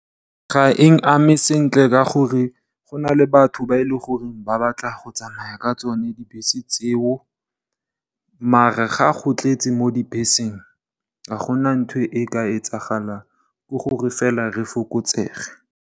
Ga e nkame sentle ka gore go na le batho ba e leng gore ba batla go tsamaya ka tsone dibese tseo. Maar, ga go tletse mo dibeseng ga gona ntho e ka etsagalang ke gore fela re fokotsege.